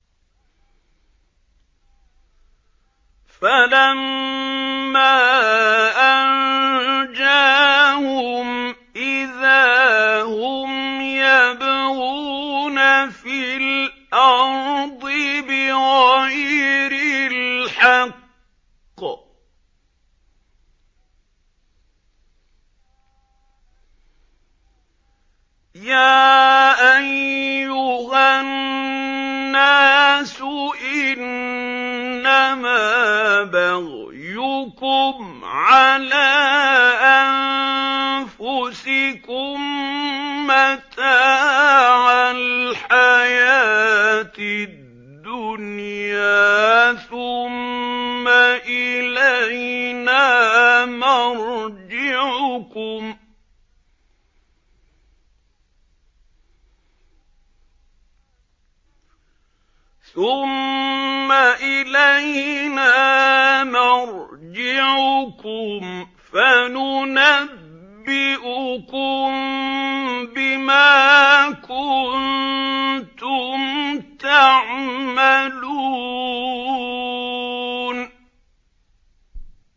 فَلَمَّا أَنجَاهُمْ إِذَا هُمْ يَبْغُونَ فِي الْأَرْضِ بِغَيْرِ الْحَقِّ ۗ يَا أَيُّهَا النَّاسُ إِنَّمَا بَغْيُكُمْ عَلَىٰ أَنفُسِكُم ۖ مَّتَاعَ الْحَيَاةِ الدُّنْيَا ۖ ثُمَّ إِلَيْنَا مَرْجِعُكُمْ فَنُنَبِّئُكُم بِمَا كُنتُمْ تَعْمَلُونَ